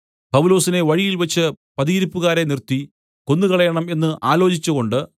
പൗലോസിനെ വഴിയിൽവച്ച് പതിയിരുപ്പുകാരെ നിർത്തി കൊന്നുകളയണം എന്ന് ആലോചിച്ചുകൊണ്ട്